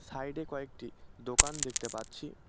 সাইডে কয়েকটি দোকান দেখতে পাচ্ছি।